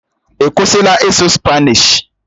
Ọ kwụsịla ịsụ Spanishi?